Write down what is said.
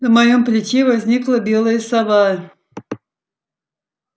на моем плече возникла белая сова